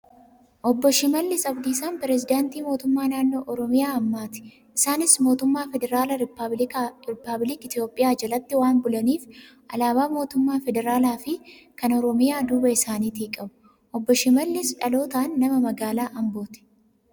Obbo Shimallis Abdiisaan Piresidaantii mootummaa Naannoo Oromiyaa ammaati. Isaanis mootummaa Federaala Rippaabiliik Itoophiyaa jalatti waan bulaniif, alaabaa Mootummaa Federaalaa fi kan Oromiyaa duuba isaaniitii qabu. Obbo Shimallis dhalootaan nama magaalaa Ambooti.